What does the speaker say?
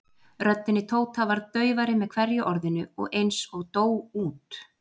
Röddin í Tóta varð daufari með hverju orðinu og eins og dó út.